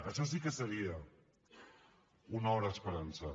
això sí que seria una hora esperançada